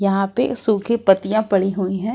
यहां पे सूखी पत्तियां पड़ी हुई है।